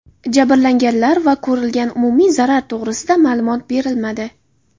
Jabrlanganlar va ko‘rilgan umumiy zarar to‘g‘risida ma’lumot berilmadi.